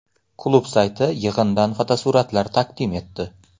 Klub sayti yig‘indan fotosuratlar taqdim etdi .